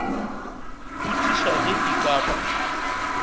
botšiša ge e ka ba